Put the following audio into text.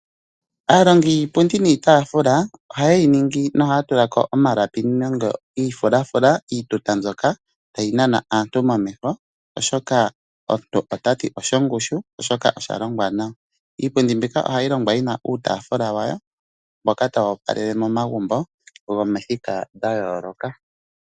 Aalongi yiipundi niitafula ohaye yi ningi nohaya tulako omalapi nenge iifulafula, iituta mbyoka hayi nana aantu momeho oshoka omuntu otati osho ngushu oshoka osha longwa nawa. Iipundi mbika ohayi longwa yina uutafula wayo mboka tawu opalele momagumbo gomithika dha yooloka.